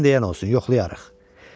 Sən deyən olsun, yoxlayarıq.